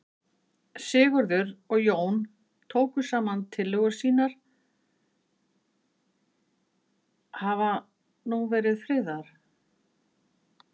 Sigurður og Jón tóku saman tillögur sínar hafa nú verið friðaðar.